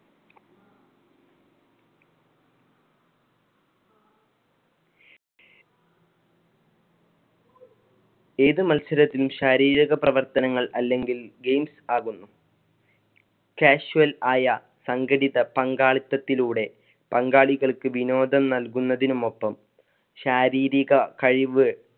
ഏത് മത്സരത്തിനും ശാരീരിക പ്രവർത്തനങ്ങൾ അല്ലെങ്കിൽ games ആകുന്നു casual ആയ സങ്കടിത പങ്കാളിലത്തിലൂടെ പങ്കാളികൾക്ക് വിനോദം നൽകുന്നതിന് മൊത്തം ശാരീരിക കഴിവ്